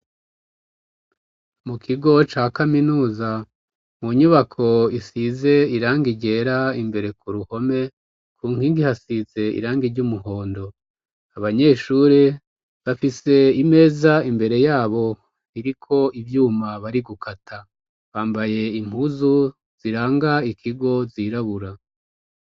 Mu kigo ca Kaminuza mu nyubako isize irangi ryera imbere ku ruhome ku nkingi hasize irangi ry'umuhondo abanyeshuri bafise imeza imbere yabo iriko ivyuma bari gukata bambaye impuzu ziranga ikigo zirabura.